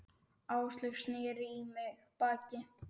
Áslaug sneri í mig baki.